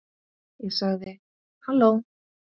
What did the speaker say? Ég sagði: Halló?